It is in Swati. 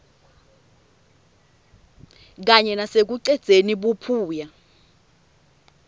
kanye nasekucedzeni buphuya